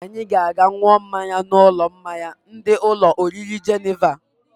Anyị ga-aga n̄ụọ mmanya n'ụlọ mmanya ndị ụlọ oriri Jeneva.